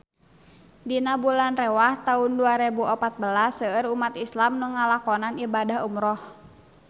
Dina bulan Rewah taun dua rebu opat belas seueur umat islam nu ngalakonan ibadah umrah